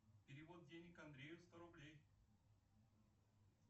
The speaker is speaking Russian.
перевод денег андрею сто рублей